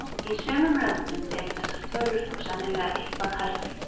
Í sumum löndum eru þessar tölur þó sennilega eitthvað hærri.